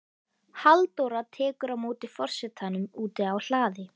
Halldóra tekur á móti forsetanum úti á hlaði.